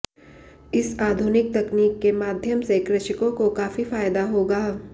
इस आधुनिक तकनीक के माध्यम से कृषकों को काफी फायदा होगा